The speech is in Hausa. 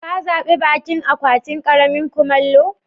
Ka zabi bakin akwatin karin kumallo?